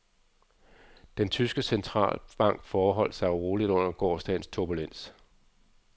Den tyske centralbank forholdt sig roligt under gårsdagens turbulens.